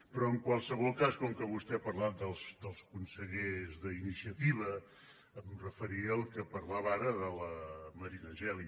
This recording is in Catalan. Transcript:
però en qualsevol cas com que vostè ha parlat dels consellers d’iniciativa em referiré a allò de què parlava ara la marina geli